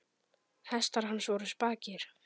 Hestar hans voru spakir.